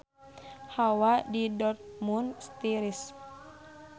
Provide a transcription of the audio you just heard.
Hawa di Dortmund tiris